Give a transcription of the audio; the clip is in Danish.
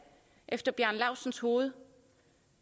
efter herre bjarne laustsens hoved